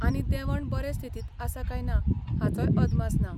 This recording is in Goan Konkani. आनी देंवण बरे स्थितींत आसा काय ना हाचोय अदमास ना.